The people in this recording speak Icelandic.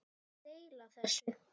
Deila þessu